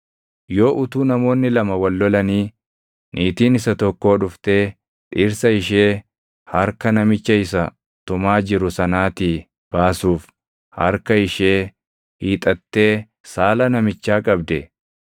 Yoo utuu namoonni lama wal lolanii, niitiin isa tokkoo dhuftee dhirsa ishee harka namicha isa tumaa jiru sanaatii baasuuf harka ishee hiixattee saala namichaa qabde,